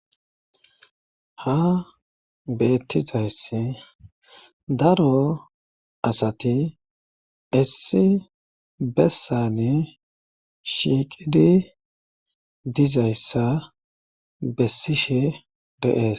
ha beettizayss daro asati issi bessane shiiqidi dizayssa bessishe deees